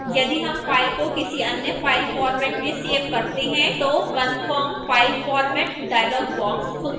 यदि हम file को किसी any file format में सेव करते हैं तो confirm file format dialog box खुलता है